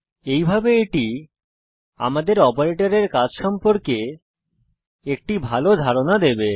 এইভাবে এটি আমাদের অপারেটরের কাজ সম্পর্কে একটি ভাল ধারণা দেবে